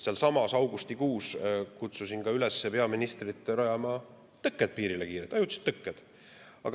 Sealsamas augustikuus kutsusin ka üles peaministrit rajama tõkked piirile, kiirelt ajutiselt tõkked.